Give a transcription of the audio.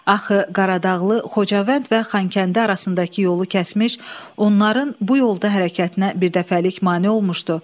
Axı Qaradağlı Xocavənd və Xankəndi arasındakı yolu kəsmiş, onların bu yolda hərəkətinə birdəfəlik mane olmuşdu.